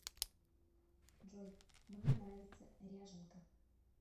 джой мне нравится ряженка